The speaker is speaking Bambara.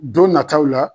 Don nataw la